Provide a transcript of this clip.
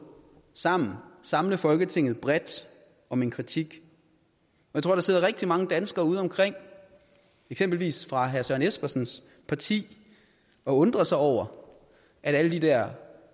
sammen samle folketinget bredt om en kritik jeg tror der sidder rigtig mange danskere udeomkring eksempelvis fra herre søren espersens parti og undrer sig over at alle de der